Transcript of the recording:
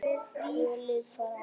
Tvö lið fara áfram.